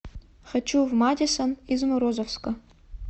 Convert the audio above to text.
хочу в мадисон из морозовска